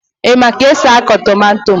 ị maara ka esi akụ tomato